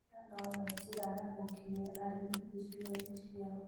ĩno no yo njĩra ya gũkinyĩra arĩmi icigo-inĩ icio